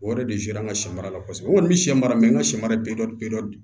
O yɛrɛ de an ka sɛ mara la kosɛbɛ o kɔni bɛ sɛ mara mɛ n ka sɛ mara bɛ dɔn